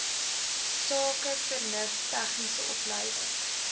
sakevernuf tegniese opleiding